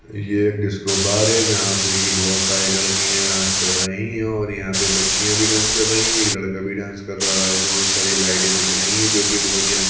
यह कोई disco bar है जहाँ पे की बहुत सारी लड़कियां डांस कर रही है और यहाँ पे बच्चियां भी डांस कर रही है एक लड़का भी डांस कर रहा है बहुत सारी लाइटे दिख रही है जो की बहुत ही रंग --